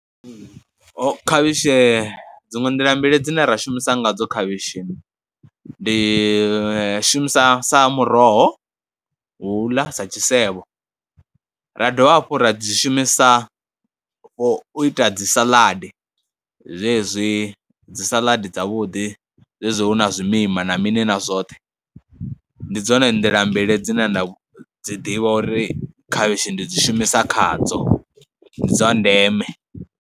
Ho khavhishi dziṅwe nḓila mbili dzine ra shumisa ngadzo khavhishi, ndi shumisa sa muroho, wo u ḽa sa tshisevho, ra dovha hafhu ra dzi shumisa for u ita dzi salaḓi, zwezwi dzi salaḓi dzavhuḓi zwezwi hu na zwimima na mini na zwoṱhe. Ndi dzone nḓila mbili dzine nda dzi ḓivha uri khavhishi ndi dzi shumisa khadzo, ndi dza ndeme.